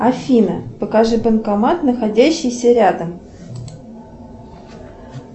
афина покажи банкомат находящийся рядом